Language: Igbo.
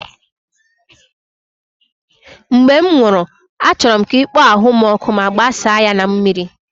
Mgbe m nwụrụ, achọrọ m ka ị kpọọ ahụ m ọkụ ma gbasaa ya na mmiri